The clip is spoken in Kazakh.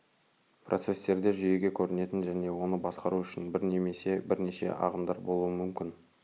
процестерде жүйеге көрінетін және оны басқару үшін бір немесе бірнеше ағымдар болуы мүмкін